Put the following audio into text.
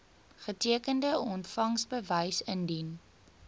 getekende ontvangsbewys indien